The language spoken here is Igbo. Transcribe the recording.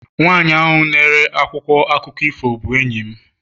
nwanyị na-ere akwụkwọ akụkọ ifo bụ enyi m